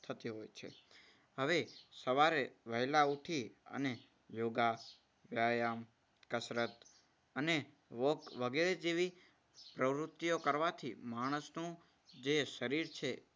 થતી હોય છે. હવે સવારે વહેલા ઉઠી અને યોગા, વ્યાયામ, કસરત અને walk વગેરે જેવી પ્રવૃત્તિઓ કરવાથી માણસનું જે શરીર છે.